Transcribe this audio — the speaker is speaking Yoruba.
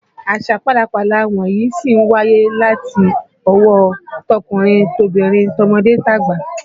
Àṣà pálapàla wọ̀nyí sì ń wáyé láti ọwọ́ tọkùnrin tobìnrin, tọmọdé tàgbà